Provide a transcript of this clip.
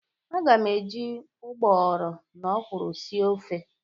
Aga m eji ụgbọghọrọ na ọkwụrụ sie ofe.